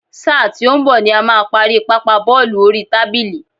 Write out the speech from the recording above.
Sáà tí ó ń bọ̀ ni a máa parí Pápá bọ́ọ̀lù oríi tábìlì.